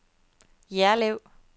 Jerlev